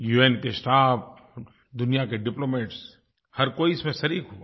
उन के स्टाफ दुनिया के डिप्लोमैट्स हर कोई इसमें शरीक़ हुआ